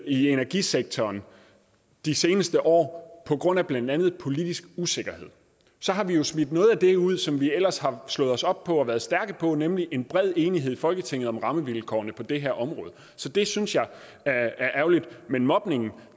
i energisektoren de seneste år på grund af blandt andet politisk usikkerhed så har vi jo smidt noget af det ud som vi ellers har slået os op på og været stærke på nemlig en bred enighed i folketinget om rammevilkårene på det her område det synes jeg er ærgerligt men mobningen